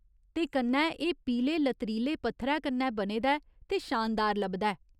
ते कन्नै एह् पीले लतरीले पत्थरै कन्नै बने दा ऐ ते शानदार लभदा ऐ।